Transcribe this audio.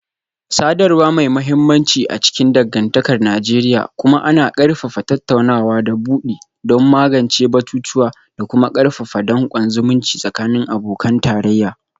Sadarwa mai mahimmanci a cikin dangantakar Najeriya, kuma ana ƙarfafa tattaunawa ta bude don magance batutuwa da kuma karfafa dankon zumunci tsakanin abokan tarayya